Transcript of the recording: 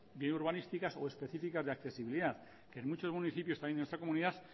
bien urbanísticas o específicas de accesibilidad que en muchos municipios también de nuestra comunidad